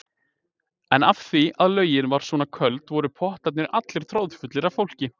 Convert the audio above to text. En af því að laugin var svona köld voru pottarnir allir troðfullir af fólki.